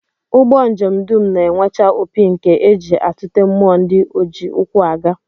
Ụgbọ njem dum na-enwecha opi nke e ji atụte mmụọ ndị oji ụkwụ aga